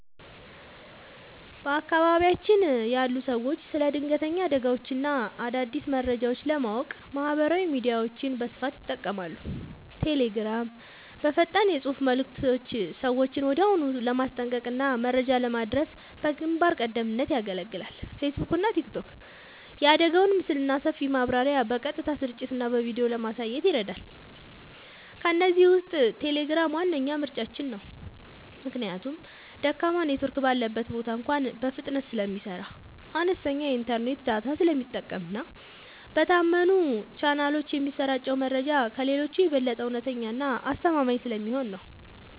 በአካባቢያችን ያሉ ሰዎች ስለ ድንገተኛ አደጋዎችና አዳዲስ መረጃዎች ለማወቅ ማህበራዊ ሚዲያዎችን በስፋት ይጠቀማሉ። ቴሌግራም፦ በፈጣን የፅሁፍ መልዕክቶች ሰዎችን ወዲያውኑ ለማስጠንቀቅና መረጃ ለማድረስ በግንባር ቀደምትነት ያገለግላል። ፌስቡክና ቲክቶክ፦ የአደጋውን ምስልና ሰፊ ማብራሪያ በቀጥታ ስርጭትና በቪዲዮ ለማየት ይረዳሉ። ከእነዚህ ውስጥ ቴሌግራም ዋነኛ ምርጫችን ነው። ምክንያቱም ደካማ ኔትወርክ ባለበት ቦታ እንኳ በፍጥነት ስለሚሰራ፣ አነስተኛ የኢንተርኔት ዳታ ስለሚጠቀምና በታመኑ ቻናሎች የሚሰራጨው መረጃ ከሌሎቹ የበለጠ እውነተኛና አስተማማኝ ስለሚሆን ነው።